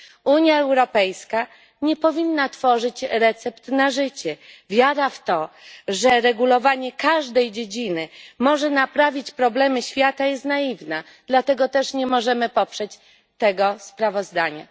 Unia Europejska nie powinna tworzyć recept na życie, wiara w to, że regulowanie każdej dziedziny może naprawić problemy świata, jest naiwna, dlatego też nie możemy poprzeć tego sprawozdania.